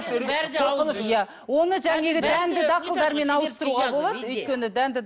иә оны жаңағы дәнді дақылдармен ауыстыруға болады өйткені дәнді